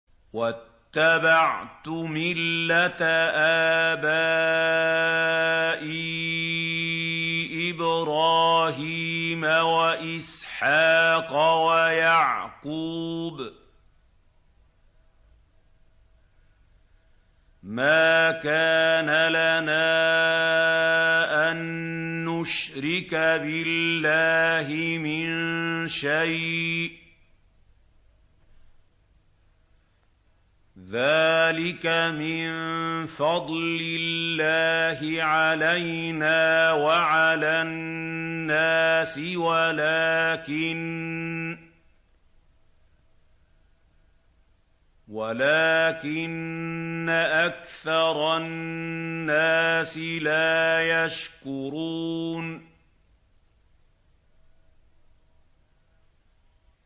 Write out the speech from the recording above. وَاتَّبَعْتُ مِلَّةَ آبَائِي إِبْرَاهِيمَ وَإِسْحَاقَ وَيَعْقُوبَ ۚ مَا كَانَ لَنَا أَن نُّشْرِكَ بِاللَّهِ مِن شَيْءٍ ۚ ذَٰلِكَ مِن فَضْلِ اللَّهِ عَلَيْنَا وَعَلَى النَّاسِ وَلَٰكِنَّ أَكْثَرَ النَّاسِ لَا يَشْكُرُونَ